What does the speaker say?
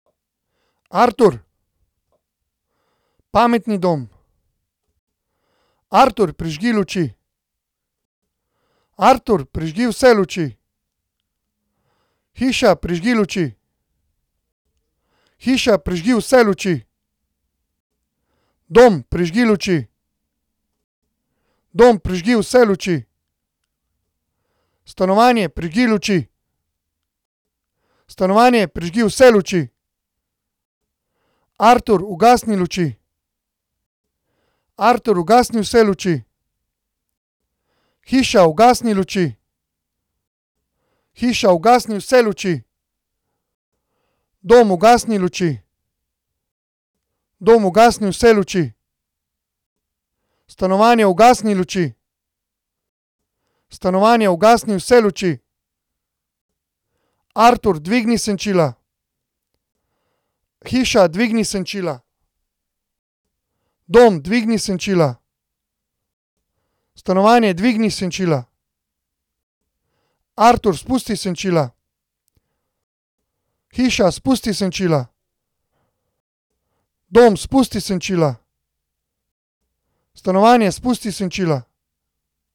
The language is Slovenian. Artur. Pametni dom. Artur, prižgi luči. Artur, prižgi vse luči. Hiša, prižgi luči. Hiša, prižgi vse luči. Dom, prižgi luči. Dom, prižgi vse luči. Stanovanje, prižgi luči. Stanovanje, prižgi vse luči. Artur, ugasni luči. Artur, ugasni vse luči. Hiša, ugasni luči. Hiša, ugasni vse luči. Dom, ugasni luči. Dom, ugasni vse luči. Stanovanje, ugasni luči. Stanovanje, ugasni vse luči. Artur, dvigni senčila. Hiša, dvigni senčila. Dom, dvigni senčila. Stanovanje, dvigni senčila. Artur, spusti senčila. Hiša, spusti senčila. Dom, spusti senčila. Stanovanje, spusti senčila.